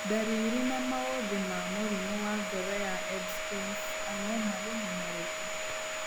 Ndariri na maũthĩ ma mũrimũ wa ngoro wa Ebstein's anomaly nĩ marĩkũ?